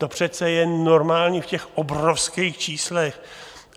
To přece je normální v těch obrovských číslech.